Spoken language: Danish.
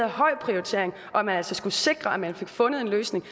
høj prioritering og at man altså skulle sikre at man fik fundet en løsning